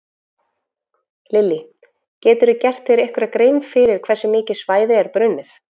Lillý: Geturðu gert þér einhverja grein fyrir hversu mikið svæði er brunnið?